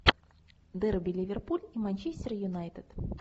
дерби ливерпуль и манчестер юнайтед